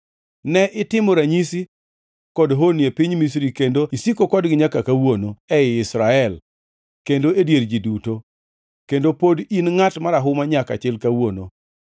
Ne itimo ranyisi kod honni e piny Misri kendo isiko kodgi nyaka kawuono, ei Israel kendo e dier ji duto, kendo pod in ngʼat marahuma nyaka chil kawuono.